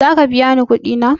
Zaka biya ni kuɗi na?